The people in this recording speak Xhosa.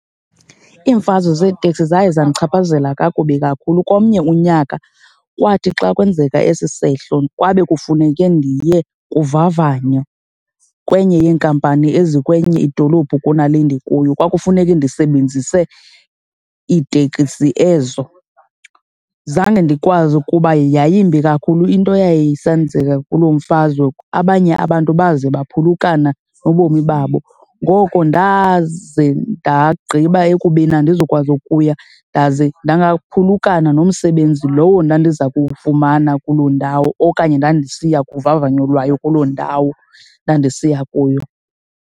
Iimfazwe zeeteksi zaye zandichaphazela kakubi kakhulu. Komnye unyaka kwathi xa kwenzeka esi sehlo kwabe kufuneke ndiye kuvavanywa kwenye yeenkampani ezikwenye idolophu kunale ndikuyo, kwakufuneke ndisebenzise iitekisi ezo. Zange ndikwazi kuba yayimbi kakhulu into yayisenzeka kulo mfazwe, abanye abantu baze baphulukana nobomi babo. Ngoko ndaze ndagqiba ekubeni andizukwazi ukuya ndaze phulukana nomsebenzi lowo ndandiza kuwufumana kuloo ndawo okanye ndandisiya kuvavanyo lwayo kuloo ndawo ndandisiya kuyo.